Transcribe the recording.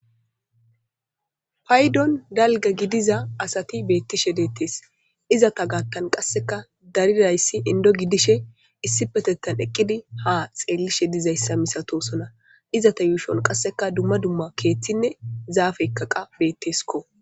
Paydon dalga gidiza asati beettishe deettees izata gaattan qasseka darirayssi indo gidishe issi petettan eqqidi ha xeellishe dizayssa misatosona izata yuushon qasseka dumma dumma keeththinne zaafekkaqa beetteskko.